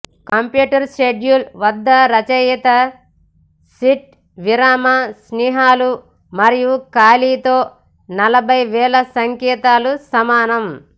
computer schedule వద్ద రచయిత sheet విరామ చిహ్నాలు మరియు ఖాళీలతో నలభై వేల సంకేతాలకు సమానం